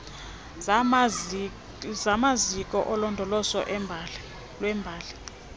zamaziko olondolozo lwembali